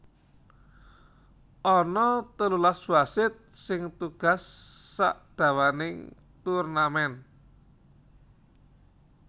Ana telulas wasit sing tugas sadawaning turnamen